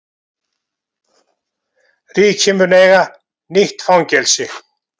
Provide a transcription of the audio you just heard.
Ríkið mun eiga nýtt fangelsi